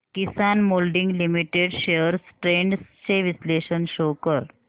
किसान moulding limited shares trends चे विश्लेषण show कर